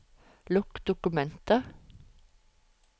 Lukk dokumentet